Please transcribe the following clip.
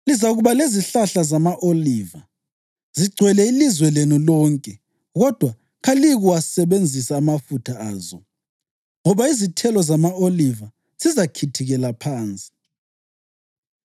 Lizakuba lezihlahla zama-oliva zigcwele ilizwe lenu lonke kodwa kaliyikuwasebenzisa amafutha azo, ngoba izithelo zama-oliva zizakhithikela phansi.